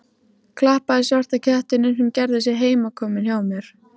Klappaði svarta kettinum sem gerði sig heimakominn hjá mér.